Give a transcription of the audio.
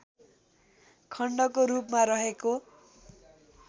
खण्डको रूपमा रहेको